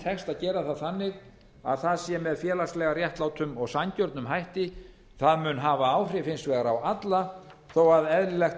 tekst að gera það þannig að það sé með félagslega réttlátum og sanngjörnum hætti það mun hafa áhrif hins vegar á alla þó að eðlilegt